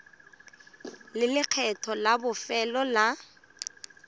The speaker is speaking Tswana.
le lekgetho la bofelo la